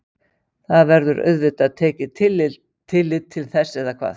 Það verður auðvitað tekið tillit til þess eða hvað?